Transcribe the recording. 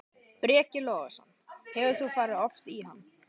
Breki Logason: Hefur þú farið oft í hann?